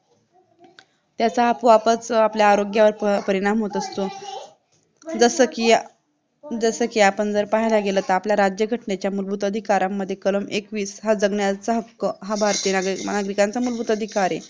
त्याचा आपोआपच आपल्या आरोग्यावर परिणाम होत असतो जसेकी आपण पहिला गेलं कि आपलं राज्यघटनेच्या मूलभूत अधिकारांमध्ये कलम एकवीस हा जगण्याचा हक्क हा भारतीक नागरिकाचा मूलभूत अधिकार आहे